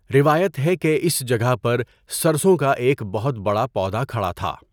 روایت ہے کہ اس جگہ پر سرسوں کا ایک بہت بڑا پودا کھڑا تھا۔